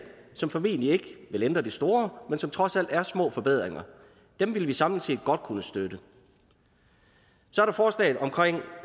som formentlig ikke vil ændre det store men som trods alt er små forbedringer dem ville vi samlet set godt kunne støtte så